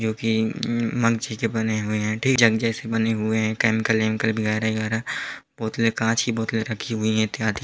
जोकि मंगछी के बने हुए हैं जंग जैसे बने हुए हैं केमिकल वेमिकल बनाने के लिए बोलते कांच की बोतले रखी हुई हैं इत्यादि --